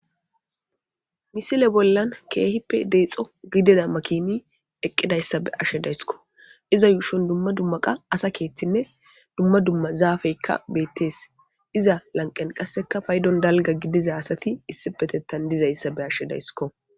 Misile bollan keehippe deeexo gidida makiini eqidayssa be'ashe dayskko iza yuushon dumma dumma qa asa keeththinne dumma dumma zaafekka beetees. Iza lanqqen qasekka paydon dalgga gidida asati issipetethan dizayssa be'ashe de'aysikko